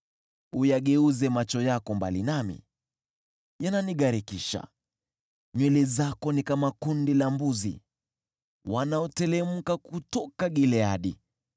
Uyageuze macho yako mbali nami, yananigharikisha. Nywele zako ni kama kundi la mbuzi wanaoteremka kutoka Gileadi.